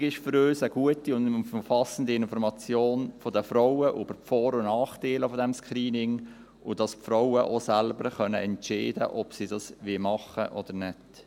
Wichtig ist für uns eine gute und umfassende Information der Frauen über die Vor- und Nachteile dieses Screenings, und dass die Frauen auch selbst entscheiden können, ob sie das machen wollen oder nicht.